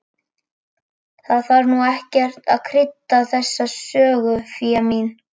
Það þarf nú ekkert að krydda þessa sögu, Fía mín.